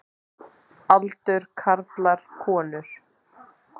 Aldur karlar konur